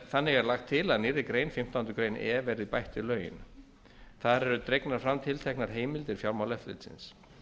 þannig er lagt til að nýrri grein fimmtándu grein e verði bætt við lögin þar er dregnar fram tilteknar heimildir fjármálaeftirlitsins